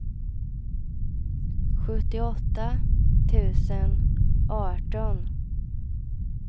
sjuttioåtta tusen arton